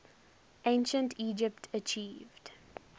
ancient egypt achieved